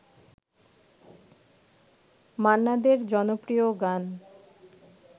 মান্না দের জনপ্রিয় গান